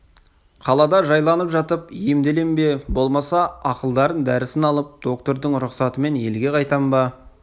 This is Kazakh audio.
қалада жайланып жатып емделем бе болмаса ақылдарын дәрісін алып доктордың рұқсатымен елге қайтам ба